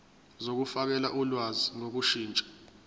zokufakela ulwazi ngokushintsha